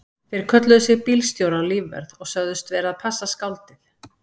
Þeir kölluðu sig bílstjóra og lífvörð og sögðust vera að passa skáldið.